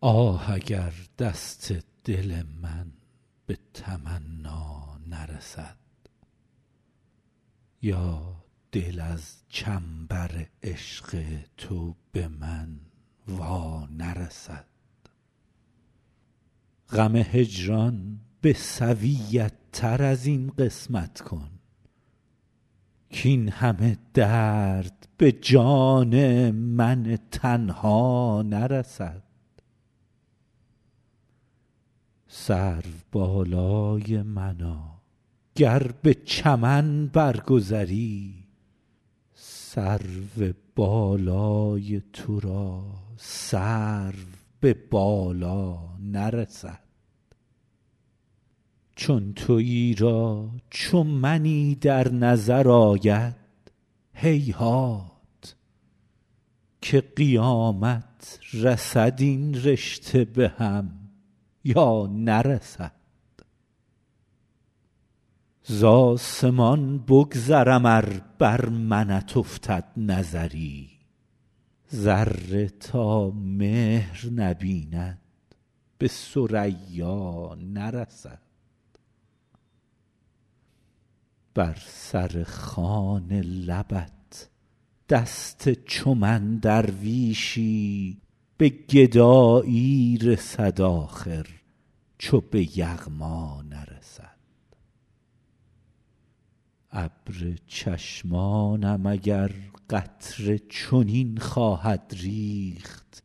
آه اگر دست دل من به تمنا نرسد یا دل از چنبر عشق تو به من وا نرسد غم هجران به سویت تر از این قسمت کن کاین همه درد به جان من تنها نرسد سروبالای منا گر به چمن بر گذری سرو بالای تو را سرو به بالا نرسد چون تویی را چو منی در نظر آید هیهات که قیامت رسد این رشته به هم یا نرسد زآسمان بگذرم ار بر منت افتد نظری ذره تا مهر نبیند به ثریا نرسد بر سر خوان لبت دست چو من درویشی به گدایی رسد آخر چو به یغما نرسد ابر چشمانم اگر قطره چنین خواهد ریخت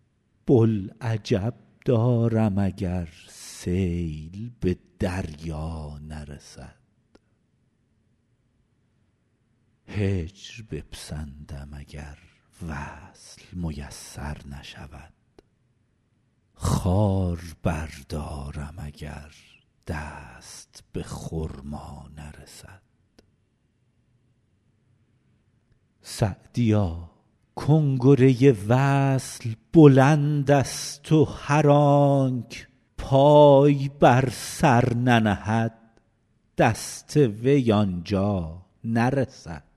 بوالعجب دارم اگر سیل به دریا نرسد هجر بپسندم اگر وصل میسر نشود خار بردارم اگر دست به خرما نرسد سعدیا کنگره وصل بلندست و هر آنک پای بر سر ننهد دست وی آن جا نرسد